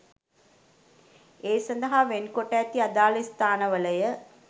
ඒ සඳහා වෙන් කොට ඇති අදාළ ස්ථානවලය.